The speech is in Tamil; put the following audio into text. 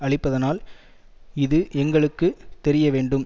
அழிப்பதானால் இது எங்களுக்கு தெரிய வேண்டும்